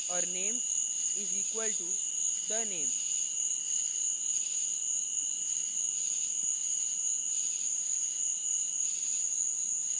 और name is equal to the _ name